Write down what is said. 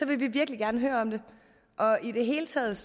vi virkelig gerne høre om det i det hele taget